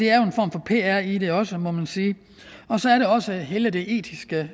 er jo en form for pr i det også må man sige og så er der også hele det etiske